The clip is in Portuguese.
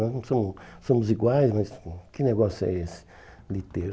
Nós não somos somos iguais, mas que negócio é esse de ter...